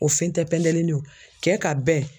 O fɛn tɛ pɛndelinin ye kɛ ka bɛn